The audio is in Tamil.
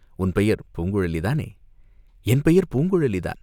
"உன் பெயர் பூங்குழலி தானே?" "என் பெயர் பூங்குழலிதான்.